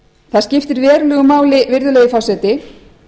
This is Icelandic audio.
það skiptir verulegu máli virðulegi forseti